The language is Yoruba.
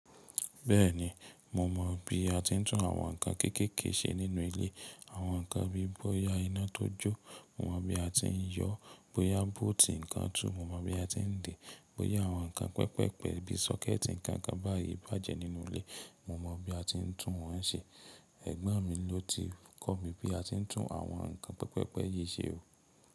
Bẹ́ẹ̀ni, mo mọ̀ bí a ti ń tún àwọn ǹkan kéékèèké ṣe nínú ilé. Àwọn ǹkan bíi bóyá iná tó jó, mo mọ̀ bí a ti ń yọ, bóyá bóótì ǹkan tú, mo mọ̀ bí a ti ń dè é, bóyá àwọn ǹkan pẹpẹpẹ bi sọ́kẹ́ẹ̀tì ǹkan kan báyìí bàjẹ́ nínú ilé, mo mọ̀ bí a ti ń tún wọ́n ṣe. Ẹ̀gbọ́n mi ló ti kọ́ mi bí a ti ń tún àwọn ǹkan pẹpẹpẹ yìí ṣe ó.